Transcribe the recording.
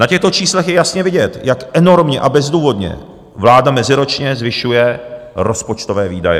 Na těchto číslech je jasně vidět, jak enormně a bezdůvodně vláda meziročně zvyšuje rozpočtové výdaje.